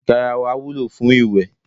Garawa wúlò fún iwe.